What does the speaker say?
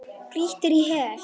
Grýttir í hel.